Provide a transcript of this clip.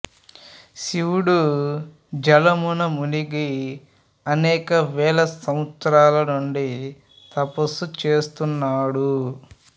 శివుడు జలమున మునిగి అనేక వేల సంవత్సరాల నుండి తపస్సు చేస్తున్నాడు